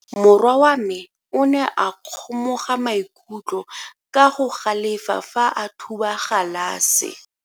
Morwa wa me o ne a kgomoga maikutlo ka go galefa fa a thuba galase.